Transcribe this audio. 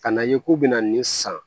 Ka na ye k'u bɛna nin san